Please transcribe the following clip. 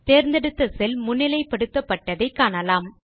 தேர்ந்தெடுத்த செல் முன்னிலைப்படுத்தப்பட்டதை காணலாம்